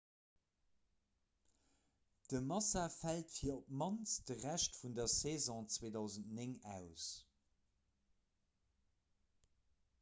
de massa fält fir op d'mannst de rescht vun der saison 2009 aus